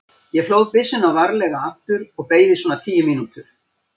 Ég hlóð byssuna varlega aftur og beið í svona tíu mínútur.